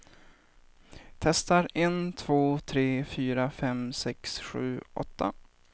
Testar en två tre fyra fem sex sju åtta.